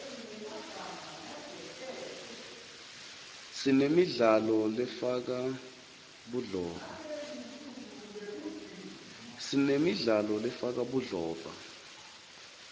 sinemidlalo lefaka budlova